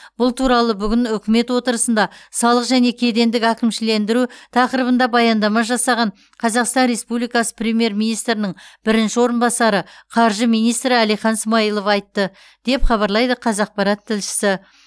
бұл туралы бүгін үкімет отырысында салық және кедендік әкімшілендіру тақырыбында баяндама жасаған қазақстан республикасы премьер министрінің бірінші орынбасары қаржы министрі әлихан смайылов айтты деп хабарлайды қазақпарат тілшісі